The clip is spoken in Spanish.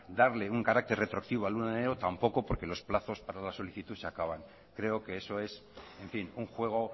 darle un carácter retroactivo al uno de enero tampoco porque los plazos para la solicitud se acaban creo que eso es en fin un juego